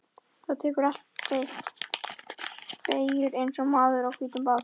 Þú tekur aldrei beygjur eins og maðurinn á hvíta bátnum.